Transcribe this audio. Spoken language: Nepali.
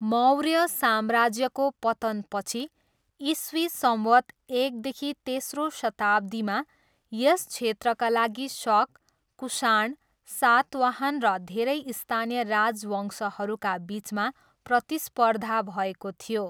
मौर्य साम्राज्यको पतनपछि, इस्वी संवत् एकदेखि तेस्रो शताब्दीमा यस क्षेत्रका लागि शक, कुषाण, सातवाहन र धेरै स्थानीय राजवंशहरूका बिचमा प्रतिस्पर्धा भएको थियो।